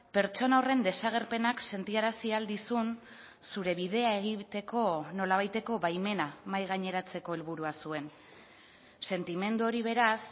pertsona horren desagerpenak sentiarazi ahal dizun zure bidea egiteko nolabaiteko baimena mahai gaineratzeko helburua zuen sentimendu hori beraz